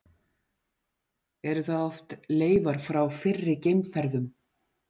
Eru það oft leifar frá fyrri geimferðum.